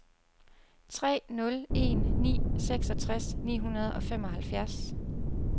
tre nul en ni seksogtres ni hundrede og femoghalvfjerds